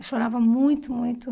Eu chorava muito, muito.